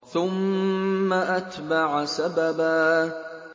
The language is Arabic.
ثُمَّ أَتْبَعَ سَبَبًا